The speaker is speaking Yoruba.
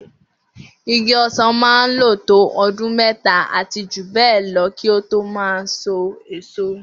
Igi ọsán máa n lo to ọdún méta àti jù bẹẹ lọ kí o to máa sọ èso